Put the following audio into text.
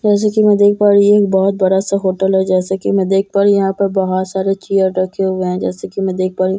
जैसा की मैं देख पा रही हूँ ये बहुत बड़ा सा होटल है जैसा की मैं देख पा रही हूँ यहाँ पर बहुत सारे चेयर रखे हुए हैं जैसा की मैं देख पा रही हूँ --